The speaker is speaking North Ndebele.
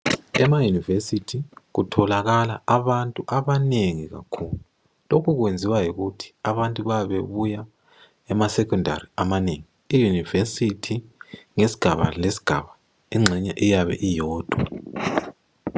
Ema university kutholakala abantu abanengi kakhulu. Lokhu kwenziwa yikuthi abantu bayabebebuya emasecondary amanengi. Iuniversity ngesigaba lesigaba engxenye iyabe iyodwa.